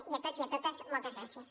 i a tots i a totes moltes gràcies